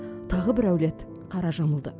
тағы бір әулет қара жамылды